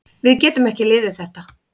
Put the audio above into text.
Við getum ekki liðið þetta.